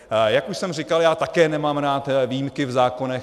Jak už jsem říkal, já také nemám rád výjimky v zákonech.